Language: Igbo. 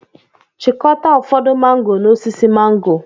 Chịkọta ụfọdụ mángò n'osisi mángò